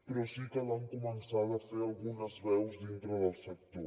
però sí que l’han començada a fer algunes veus dintre del sector